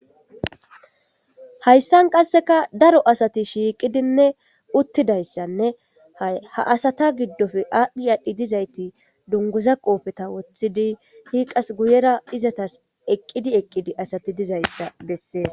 hayssan qasseka daro asati shiiqidinne uttidayssanne ha asata giddofe aadhdhi aadhdhi dizayti dunguza qoofeta woththidi hiiqas guyera izatas eqqidi eqqidi asati dizayssa bessees